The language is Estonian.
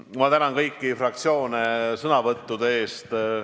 Ma tänan kõiki fraktsioone sõnavõttude eest!